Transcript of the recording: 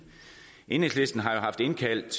enhedslisten har jo haft indkaldt